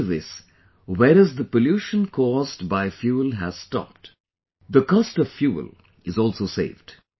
Due to this, whereas the pollution caused by fuel has stopped, the cost of fuel is also saved